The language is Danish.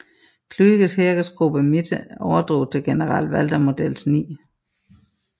Kluges Heeresgruppe Mitte overdrog til general Walter Models 9